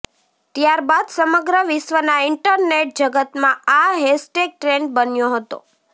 ત્યારબાદ સમગ્ર વિશ્વના ઇન્ટરનેટ જગતમાં આ હેશટેગ ટ્રેન્ડ બન્યો હતો